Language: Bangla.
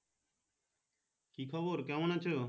কি খবর কেমন আছো?